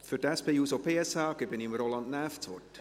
Für die SP-JUSO-PSA gebe ich Roland Näf das Wort.